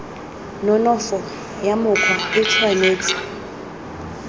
nonofo ya mokgwa e tshwanetse